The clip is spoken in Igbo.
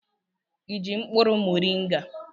Ị ji mkpụrụ moringa?